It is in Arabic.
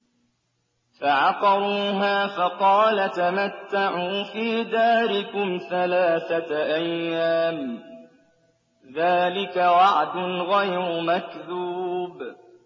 فَعَقَرُوهَا فَقَالَ تَمَتَّعُوا فِي دَارِكُمْ ثَلَاثَةَ أَيَّامٍ ۖ ذَٰلِكَ وَعْدٌ غَيْرُ مَكْذُوبٍ